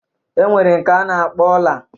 E nwere nke a na-akpọ ọla.